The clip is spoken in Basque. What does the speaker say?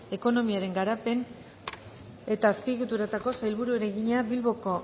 ekonomiaren garapen eta azpiegituretako sailburuari egina bilboko